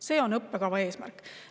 See on õppekava eesmärk.